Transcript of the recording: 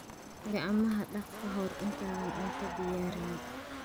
Gacmaha dhaq ka hor intaadan cunto diyaarin.